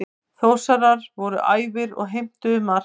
Þórsarar voru æfir og heimtuðu mark.